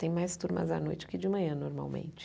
Tem mais turmas à noite que de manhã, normalmente.